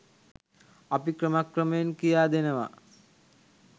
අපි ක්‍රම ක්‍රමයෙන් කියාදෙනවා